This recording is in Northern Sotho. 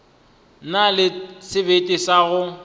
na le sebete sa go